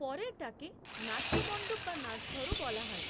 পরেরটাকে নাট্য মণ্ডপ বা নাচঘরও বলা হয়